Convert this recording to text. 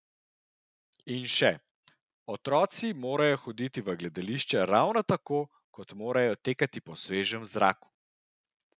In še: "Otroci morajo hoditi v gledališče ravno tako, kot morajo tekati po svežem zraku.